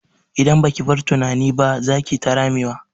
Idan baki bar tunani ba, za kiyi ta ramewa.